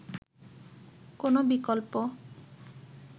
কোন বিকল্প